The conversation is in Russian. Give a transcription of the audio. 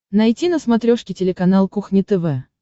найти на смотрешке телеканал кухня тв